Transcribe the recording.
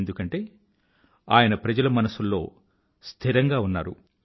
ఎందుకంటే ఆయన ప్రజల మనసుల్లో నివసించేవారు